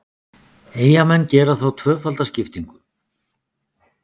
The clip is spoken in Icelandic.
Eyjamenn gera þá tvöfalda skiptingu.